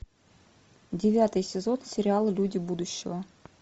девятый сезон сериала люди будущего